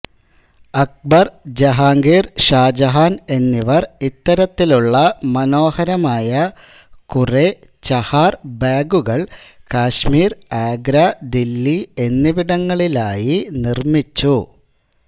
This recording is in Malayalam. അക്ബർ ജഹാംഗീർ ഷാ ജഹാൻ എന്നിവർ ഇത്തരത്തിലുള്ള മനോഹരമായ കുറേ ചഹാർ ബാഗുകൾ കശ്മീർ ആഗ്ര ദില്ലി എന്നിവിടങ്ങളിലായി നിർമ്മിച്ചു